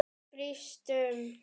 Brýst um.